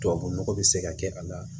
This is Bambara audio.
Tubabu nɔgɔ bɛ se ka kɛ a la